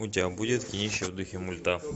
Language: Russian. у тебя будет кинище в духе мульта